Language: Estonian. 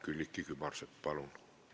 Külliki Kübarsepp, palun!